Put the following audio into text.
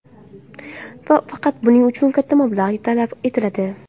Faqat buning uchun katta mablag‘ talab etiladi.